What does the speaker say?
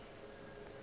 na le motho yo a